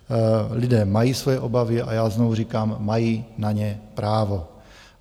Lidé mají svoje obavy a já znovu říkám, mají na ně právo.